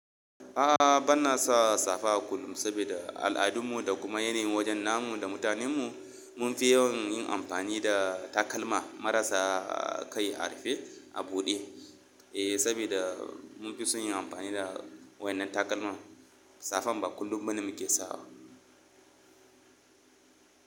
A'a, bana sa safa kullum saboda al'adun mu da kuma yanayi wajen namu da mutanen mu. Mun fi yawan yin amfani da takalma marasa kai a rufe a buɗe. Eh, saboda mun fi son yin amfani da wainnan takalma, safan ba kullum bane muke sawa.